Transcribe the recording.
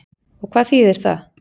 Og hvað þýðir það?